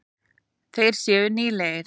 Þeir séu nýlegir.